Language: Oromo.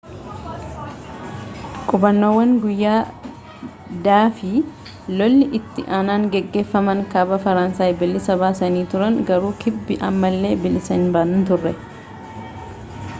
qubannaawwan guyyaa-d fi lolli itti aananii geggeeffaman kaaba faransaay bilisa baasanii turan garuu kibbi ammallee bilisa hin turre